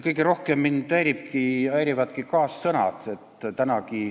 Kõige rohkem mind häirivadki kaassõnad.